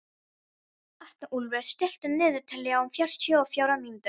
Arnúlfur, stilltu niðurteljara á fjörutíu og fjórar mínútur.